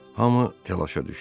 Hamı təlaşa düşdü.